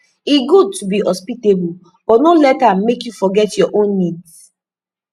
e good to be hospitable but no let am make you forget your own needs